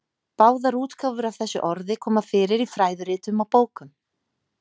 Báðar útgáfur af þessu orði koma fyrir í fræðiritum og bókum.